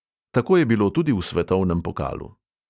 Tako je bilo tudi v svetovnem pokalu.